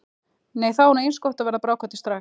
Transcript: Nei þá er nú eins gott að verða bráðkvaddur strax.